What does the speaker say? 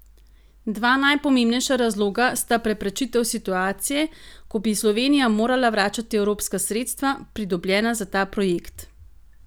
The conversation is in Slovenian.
Dva najpomembnejša razloga sta preprečitev situacije, ko bi Slovenija morala vračati evropska sredstva, pridobljena za ta projekt.